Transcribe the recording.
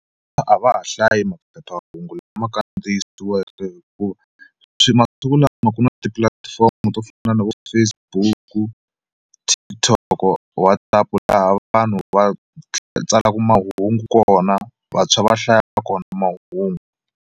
A va ha hlayi maphephahungu lama kandziyisiweke hikuva swi masiku lama ku na tipulatifomo to fana na vo Facebook, TikTok, WhatsApp laha vanhu va tsalaku mahungu kona vantshwa va hlaya kona mahungu.